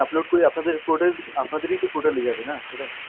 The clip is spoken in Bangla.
upload করি আপনাদের পুরোটাই আপনাদেরই তো portal এ যাবে না সেটা?